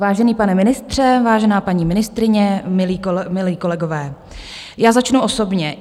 Vážený pane ministře, vážená paní ministryně, milí kolegové, já začnu osobně.